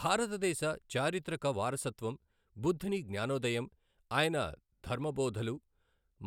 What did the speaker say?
భారతదేశ చారిత్రక వారసత్వం, బుద్ధుని జ్ఞానోదయం, ఆయన ధర్మ బోధలు,